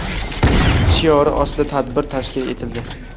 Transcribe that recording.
shiori ostida tadbir tashkil etildi.